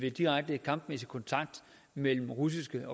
af direkte kampmæssig kontakt mellem russiske